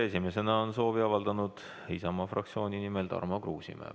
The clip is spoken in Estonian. Esimesena on kõnesoovi avaldanud Isamaa fraktsiooni nimel Tarmo Kruusimäe.